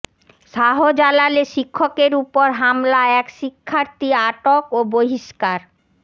শাহজালালে শিক্ষকের ওপর হামলা এক শিক্ষার্থী আটক ও বহিষ্কার